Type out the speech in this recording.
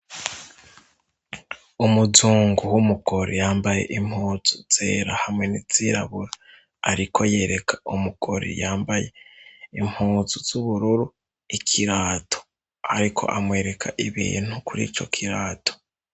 Umuzungu w'umugore yambaye impuzu zera hamwe nizirabura, ariko yereka umugore yambaye impuzu z'ubururu ikirato, ariko amwereka ibiye ntu kuri co kirato.